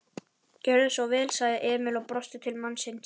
Gjörðu svo vel, sagði Emil og brosti til mannsins.